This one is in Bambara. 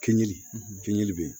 Kɛɲɛli fɛnji bɛ ye